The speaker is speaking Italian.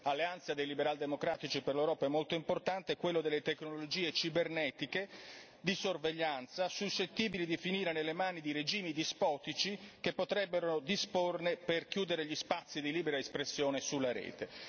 Alleanza dei liberal democratici per l'Europa consideriamo molto importante delle energie cibernetiche di sorveglianza, suscettibili di finire nelle mani di regimi dispotici che potrebbero disporne per chiudere gli spazi di libera espressione sulla rete.